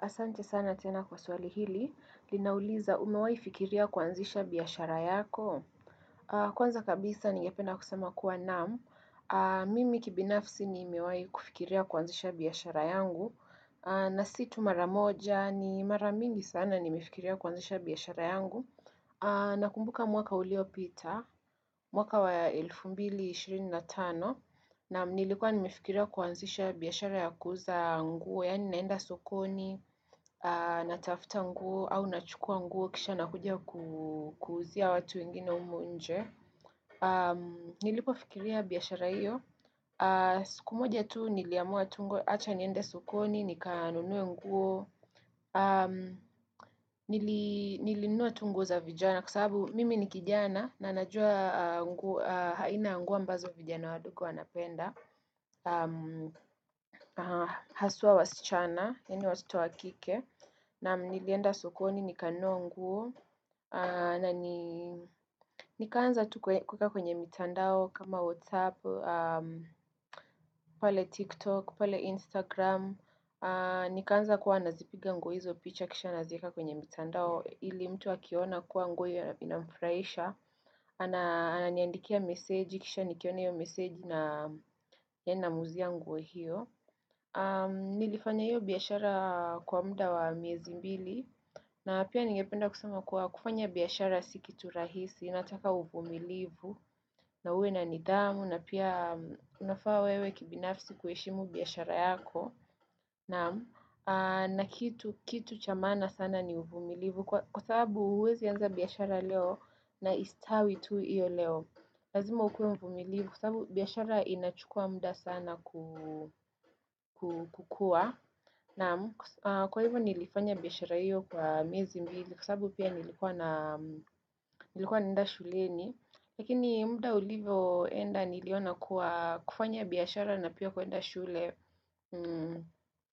Asante sana tena kwa swali hili, linauliza umewaifikiria kwanzisha biyashara yako. Kwanza kabisa nigependa kusema kuwa naamu. Mimi kibinafsi nimewai kufikiria kwanzisha biyashara yangu. Na situ maramoja ni maramingi sana nimefikiria kwanzisha biyashara yangu. Nakumbuka mwaka uliopita, mwaka wa ya elfu mbili shirini na tano. Naam nilikuwa nimefikiria kuanzisha biyashara ya kuza nguo, yani naenda sokoni, natafuta nguo, au nachukua nguo, kisha nakuja kuzia watu wengine humu nje. Nilipo fikiria biyashara hiyo. Sikumoja tu niliamua tungo, acha niende sokoni, nikaanunue nguo, nilinua tu nguo za vijana, kwa sababu mimi nikijana, na najua haina nguo ambazo vijana wadogo wanapenda. Haswa wasichana eni watoto wakike na nilienda sokoni nikanua nguo na nikaanza tu kuweka kwenye mitandao kama whatsapp pale tiktok pale instagram nikaanza kuwa nazipiga nguo hizo picha kisha nazieka kwenye mitandao ili mtu akiona kuwa nguo hiyo inamfraisha ananiandikia meseji kisha nikione hiyo meseji namuzia nguo hiyo Nilifanya hiyo biyashara kwa mda wa miezi mbili na pia ningependa kusema kwa kufanya biyashara sikitu rahisi inataka uvumilivu na uwe na nidamu na pia unafaa wewe kibinafsi kueshimu biyashara yako na kitu chamana sana ni uvumilivu Kwa sababu uwezi anza biyashara leo na istawi tu iyo leo Lazima ukuwe mvumilivu Kwa sababu biyashara inachukua mda sana kukua Naam kwa hivyo nilifanya biyashara hiyo kwa miezi mbili kwa sababu pia nilikuwa naenda shuleni Lakini muda ulivoenda niliona kufanya biyashara na pia kuenda shule